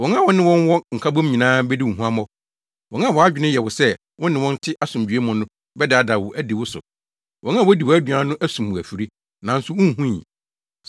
Wɔn a wo ne wɔn wɔ nkabom nyinaa bedi wo huammɔ. Wɔn a wʼadwene yɛ wo sɛ wo ne wɔn te asomdwoe mu no bɛdaadaa wo adi wo so, wɔn a wodi wʼaduan no asum wo afiri, nanso, wunhui.